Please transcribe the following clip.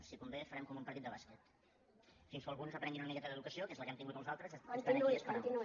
si convé farem com un partit de bàsquet fins que alguns aprenguin una miqueta d’educació que és la que hem tingut els altres estant aquí esperant los